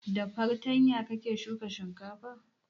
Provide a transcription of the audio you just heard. Da fartanya kake shuka shinkafa?